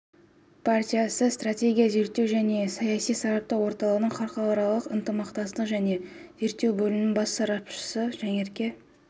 партиясы стратегиялық зерттеу және саяси сараптау орталығының халықаралық ынтымақтастық және зерттеу бөлімінің бас сарапшысы жанерке